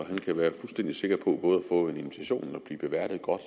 og han kan være fuldstændig sikker på både at få en invitation og at blive beværtet godt